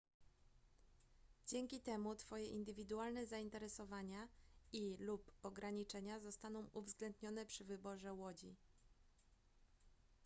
dzięki temu twoje indywidualne zainteresowania i/lub ograniczenia zostaną uwzględnione przy wyborze łodzi